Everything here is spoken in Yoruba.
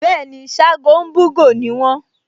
Bẹ́ẹ̀ni, Ṣágo ń bú'gò ni wọ́n